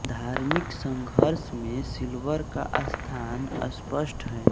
धार्मिक संघर्ष में सिल्वर का स्थान अस्पष्ट है